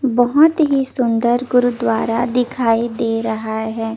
बहोत ही सुन्दर गुरुद्वारा दिखाई दे रहा हे ।